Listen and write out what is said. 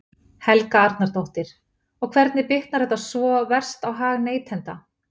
Helga Arnardóttir: Og hvernig bitnar þetta svona verst á hag neytenda?